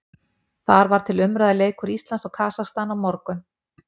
Þar var til umræðu leikur Íslands og Kasakstan á morgun.